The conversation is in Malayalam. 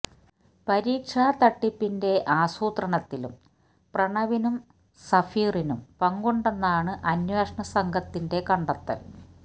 പരീക്ഷാ തട്ടിപ്പിന്റെ ആസൂത്രണത്തിലും പ്രണവിനും സഫീറിനും പങ്കുണ്ടെന്നാണ് അന്വേഷണ സംഘത്തിന്റെ കണ്ടെത്തൽ